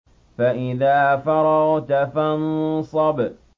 فَإِذَا فَرَغْتَ فَانصَبْ